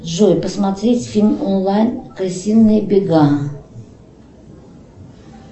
джой посмотреть фильм онлайн крысиные бега